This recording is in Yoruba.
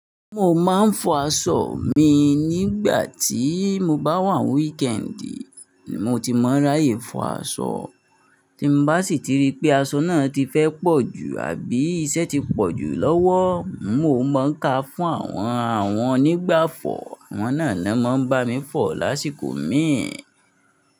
Mo máa ń fọ aṣọ mi nígbà tí mo bá wà ní wíkẹ́ẹ̀ndì, mo ti mọ ráyè fọ aṣọ. Tí mo bá sì ti rí pé aṣọ náà ti fẹ́ pọ̀ ju àbí iṣẹ́ ti pọ̀ jù lọ́wọ́, mo máa ń ka fún àwọn àwọn onígbáfọ̀, àwọn náà ni wọ́n máa ń bá mi fọ lásìkò míì.